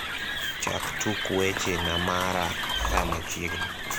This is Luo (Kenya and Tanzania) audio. chak tuk weche na mara saa machiegni